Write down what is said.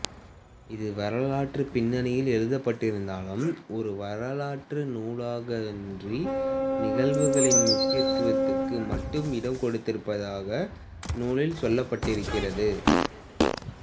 இது வரலாற்றுப் பின்னணியில் எழுதப்பட்டிருந்தாலும் ஒரு வரலாற்று நூலாகவன்றி நிகழ்வுகளின் முக்கியத்துக்கு மட்டும் இடம் கொடுத்திருப்பதாக நூலில் சொல்லப்பட்டிருக்கிறது